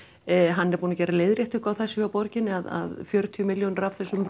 hann er búinn að gera leiðréttingu á þessu hjá borginni að fjörutíu milljónir af þessum